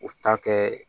U ta kɛ